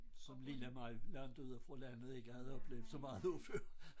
Som lille mig langt ude fra landet ikke havde oplevet så meget af før